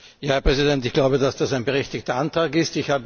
Herr Präsident, ich glaube, dass das ein berechtigter Antrag ist.